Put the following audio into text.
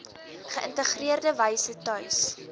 geïntegreerde wyse tuis